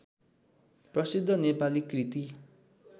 प्रसिद्ध नेपाली कृति